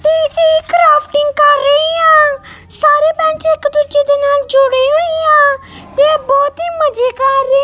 ਤੇ ਕਈ ਕਰਾਫਟਿੰਗ ਕਰ ਰਹੀ ਆਂ ਸਾਰੇ ਬੈਂਚ ਇੱਕ ਦੂਜੇ ਦੇ ਨਾਲ ਜੁੜੇ ਹੋਈ ਆ ਤੇ ਬਹੁਤ ਹੀ ਮਜੇ ਕਰ ਰਹੇ --